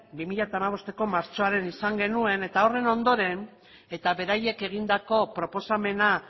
bi mila hamabosteko martxoan izan genuen eta horren ondoren eta beraiek egindako proposamena